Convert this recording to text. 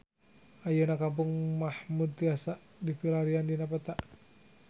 Ayeuna Kampung Mahmud tiasa dipilarian dina peta